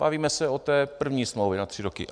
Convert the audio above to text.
Bavíme se o té první smlouvě na tři roky.